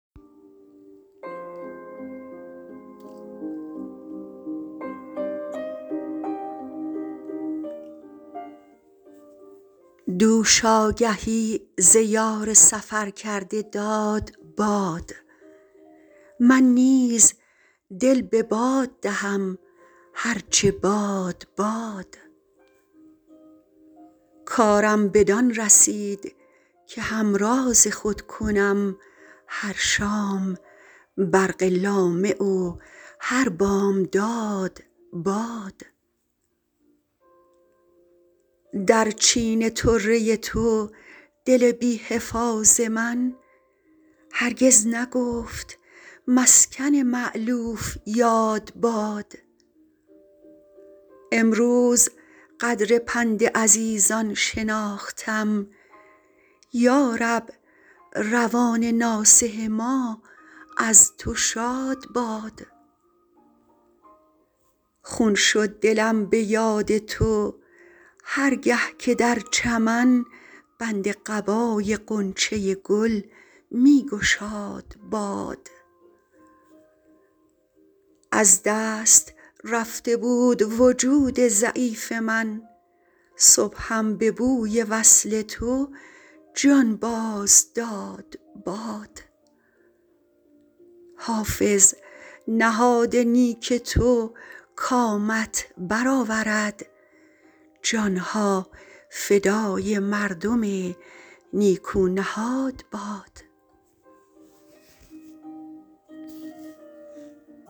دوش آگهی ز یار سفر کرده داد باد من نیز دل به باد دهم هر چه باد باد کارم بدان رسید که همراز خود کنم هر شام برق لامع و هر بامداد باد در چین طره تو دل بی حفاظ من هرگز نگفت مسکن مألوف یاد باد امروز قدر پند عزیزان شناختم یا رب روان ناصح ما از تو شاد باد خون شد دلم به یاد تو هر گه که در چمن بند قبای غنچه گل می گشاد باد از دست رفته بود وجود ضعیف من صبحم به بوی وصل تو جان باز داد باد حافظ نهاد نیک تو کامت بر آورد جان ها فدای مردم نیکو نهاد باد